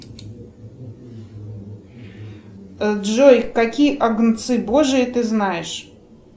джой какие агнцы божии ты знаешь